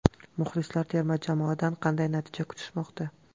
Muxlislar terma jamoadan qanday natija kutishmoqda?